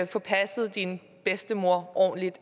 få passet din bedstemor